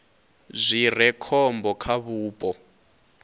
zwi re khombo kha vhupo